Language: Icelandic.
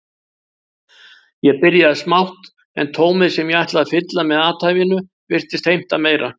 Ég byrjaði smátt en tómið sem ég ætlaði að fylla með athæfinu virtist heimta meira.